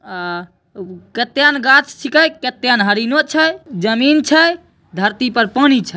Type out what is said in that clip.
आ उ कत्येन गाछ छीके कत्येन हरिणो छे जमीन छे धरती पर पानी छे।